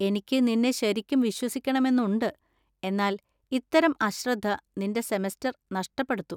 എനിക്ക് നിന്നെ ശരിക്കും വിശ്വസിക്കണമെന്നുണ്ട്, എന്നാൽ ഇത്തരം അശ്രദ്ധ നിന്‍റെ സെമസ്റ്റർ നഷ്ടപ്പെടുത്തും.